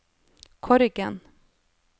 Korgen